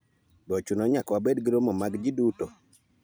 Be ochuno ni nyaka wabed gi romo mag ji duto?